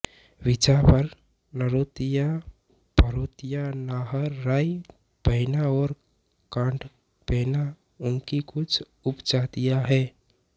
बिझवार नरोतिया भरोतिया नाहर राय भैना और काढ़ भैना इनकी कुछ उपजातियाँ हैं